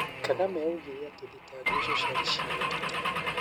Kagame oigire atĩ thitango icio ciarĩ cia ũteti.